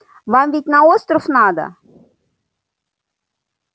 вам ведь на остров надо